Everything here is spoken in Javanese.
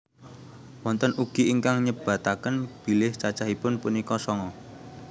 Wonten ugi ingkang nyebataken bilih cacahipun punika sanga